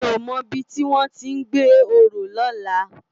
Mi ó mò ibi tiwòn to gbé òrò